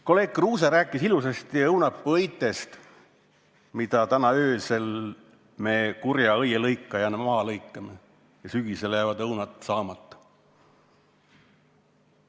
Kolleeg Kruuse rääkis ilusasti õunapuuõitest, mis me täna öösel kurja õielõikajana maha lõikame, nii et sügisel jäävad õunad saamata.